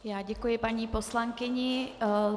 Já děkuji paní poslankyni.